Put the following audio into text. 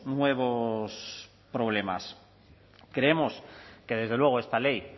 nuevos problemas creemos que desde luego esta ley